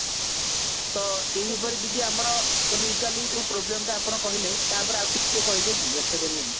ତ ଏଇପରି ଦିଦି ଆମର ଯୋଉ problem ଟା ଆପଣ କହିଲେ ତା ଉପରେ ଆଉ ଟିକେ କହିବେ କି ବାଖ୍ୟା କରିବେ କି